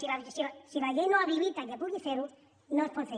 per tant si la llei no habilita que puguin fer ho no es pot fer